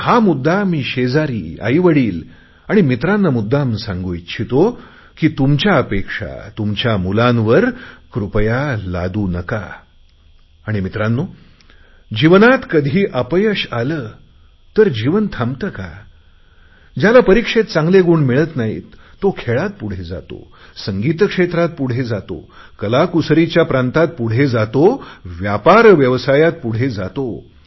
हा मुद्दा मी शेजारी आईवडिल आणि मित्रांना मुद्दाम सांगू इच्छितो की तुमच्या अपेक्षा तुमच्या मुलांवर कृपया लादू नका आणि मित्रांनो जीवनात कधी अपयश आले तर जीवन थांबते का ज्याला परिक्षेत चांगले गुण मिळत नाहीत तो खेळात पुढे जातो संगीत क्षेत्रात पुढे जातो कलाकुसरीच्या प्रांतात पुढे जातो व्यापार व्यवसायात पुढे जातो